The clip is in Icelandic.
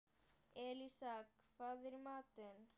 Elísa, hvað er í matinn?